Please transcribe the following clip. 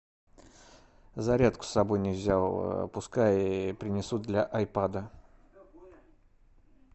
зарядку с собой не взял пускай принесут для айпада